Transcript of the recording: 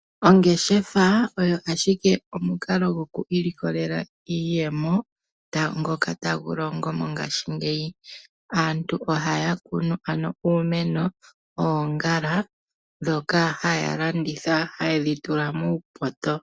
Ongeshefa oyo ashike omukalo goku ilikolela iiyemo ngoka tagu longo mongashingeyi. Aantu ohaya kunu ano uumeno, oongala ndhoka haya landitha haya tula muupoto.